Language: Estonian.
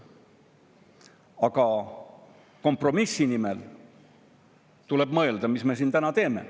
Aga kompromissi nimel tuleb mõelda, mida me siin täna teeme.